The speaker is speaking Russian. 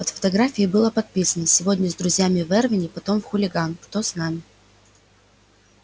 под фотографией было подписано сегодня с друзьями в эрвине потом в хулиган кто с нами